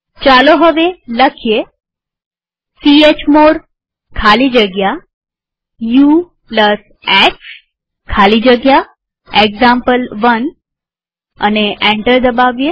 ચાલો હવે લખીએ ચમોડ ખાલી જગ્યા ux ખાલી જગ્યા એક્ઝામ્પલ1 અને એન્ટર દબાવીએ